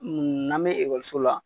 n'an bɛ ekɔliso la.